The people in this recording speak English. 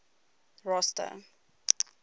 rosta